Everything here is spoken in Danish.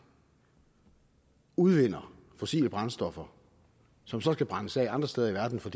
udvinder fossile brændstoffer som så skal brændes af andre steder i verden for